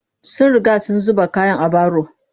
Sun riga sun zuba kayan a baro